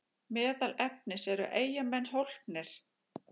Meðal efnis: Eru Eyjamenn hólpnir?